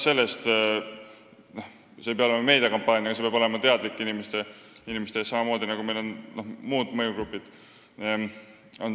See ei pea olema meediakampaania, aga see peab olema samamoodi teadlik inimeste ette tulek, nagu meil on muud mõjugrupid.